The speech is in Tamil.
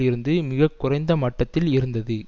இருந்து மிக குறைந்த மட்டத்தில் இருந்தது